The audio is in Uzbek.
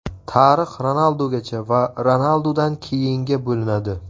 Tarix Ronaldugacha va Ronaldudan keyinga bo‘linadi.